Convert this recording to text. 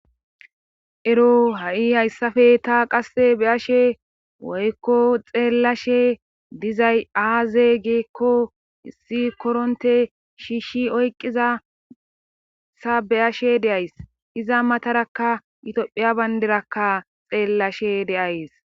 Ero ha'i hayssappe ta qasse be'ayishe woykko xeellashe dizay aaze giikko issi koronte shiishshi oyqizasa be'ayashe de'ays. Iza matarakka tophiya bayndirakka xeellashe de'ays.